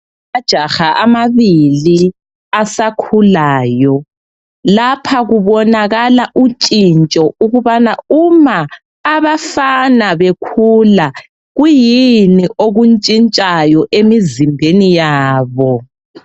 Amajaha amabili asakhulayo, lapha kubonakala utshintsho ukubana uma abafana bekhula kuyini okuntshintshayo emizimbeni yabo.